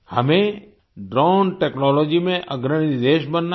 हमें drone technology में अग्रणी देश बनना है